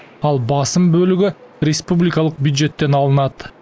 ал басым бөлігі республикалық бюджеттен алынады